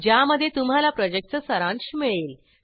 ज्यामध्ये तुम्हाला प्रॉजेक्टचा सारांश मिळेल